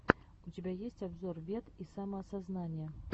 у тебя есть обзор вед и самоосознания